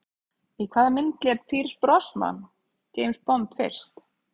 Í hvaða mynd lék Pierce Brosnan James Bond fyrst?